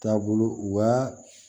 Taabolo wa